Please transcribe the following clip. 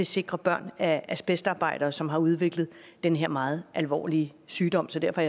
sikre børn af asbestarbejdere som har udviklet den her meget alvorlige sygdom så derfor